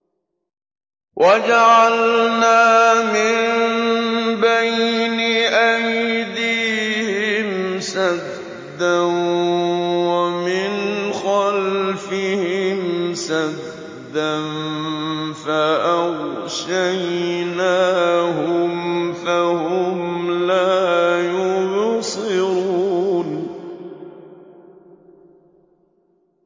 وَجَعَلْنَا مِن بَيْنِ أَيْدِيهِمْ سَدًّا وَمِنْ خَلْفِهِمْ سَدًّا فَأَغْشَيْنَاهُمْ فَهُمْ لَا يُبْصِرُونَ